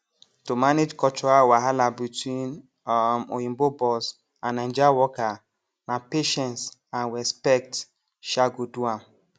to manage cultural wahala between um oyinbo boss and naija worker na patience and respect um go do am